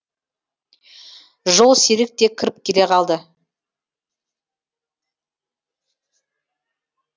жолсерік те кіріп келе қалды